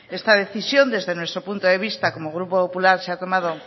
esta decisión desde nuestro punto de vista como grupo popular se ha tomado